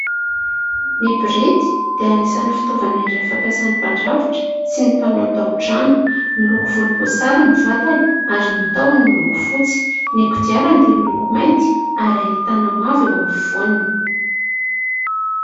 Ny borety dia anisan'ny fitaovana iray fampiasan'ny mpandrafitra sy ny mpanao taotrano. Miloko volomboasary ny vatany ary ny tahony miloko fotsy, ny kodiarany dia miloko mainty ary ahitana mavo eo afovoany.